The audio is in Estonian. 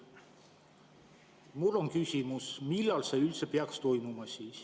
Mul on küsimus: millal see üldse peaks siis toimuma?